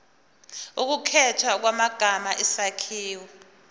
ukukhethwa kwamagama isakhiwo